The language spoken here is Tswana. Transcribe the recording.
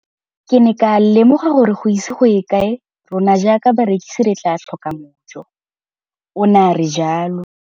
Ke ne ka lemoga gore go ise go ye kae rona jaaka barekise re tla tlhoka mojo, o ne a re jalo.